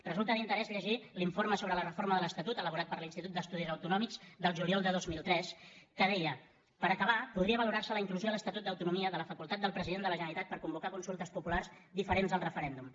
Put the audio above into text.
resulta d’interès llegir l’informe sobre la reforma de l’estatut elaborat per l’institut d’estudis autonòmics del juliol de dos mil tres que deia per acabar podria valorarse la inclusió a l’estatut d’autonomia de la facultat del president de la generalitat per convocar consultes populars diferents del referèndum